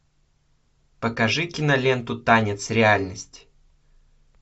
покажи киноленту танец реальности